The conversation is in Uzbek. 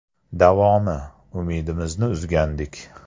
Davomi: “Umidimizni uzgandik.